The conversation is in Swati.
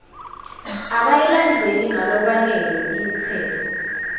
akayilandzeli ngalokwanele imitsetfo